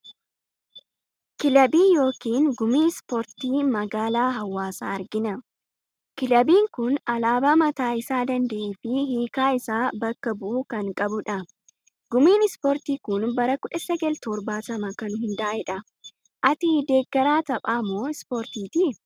Kilabii yookiin gumii ispoortii magaalaa Hawaasaa argina. Kilabiin kuni alaabaa mataa isaa danda'ee fi hiikaa isa bakka bu'u kan qabudha. Gumiin ispoortii kun bara 1970 kan hundaa'edha. Ati deeggaraa taphaa moo ispoortiiti?